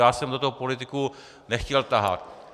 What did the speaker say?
Já jsem do toho politiku nechtěl tahat.